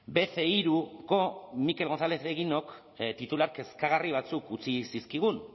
be ce hiruko mikel gonzález eguinok titular kezkagarri batzuk utzi zizkigun